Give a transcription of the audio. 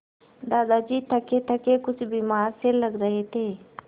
दादाजी थकेथके कुछ बीमार से लग रहे थे